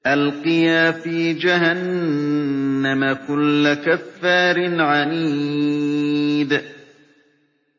أَلْقِيَا فِي جَهَنَّمَ كُلَّ كَفَّارٍ عَنِيدٍ